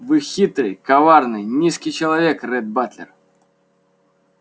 вы хитрый коварный низкий человек ретт батлер